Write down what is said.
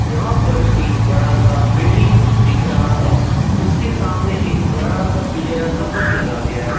यहां पर एक बड़ा सा बिल्डिंग दिख रहा है उसके सामने एक बड़ा सा पीले रंग का बस लगा गया--